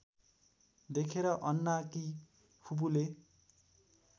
देखेर अन्नाकी फुपूले